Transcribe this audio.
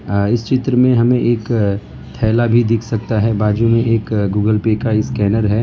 इस चित्र में हमें एक थैला भी दिख सकता है बाजू में एक गूगल पे का स्कैनर है।